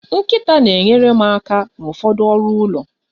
Nkịta na-enyere m aka n'ụfọdụ ọrụ ụlọ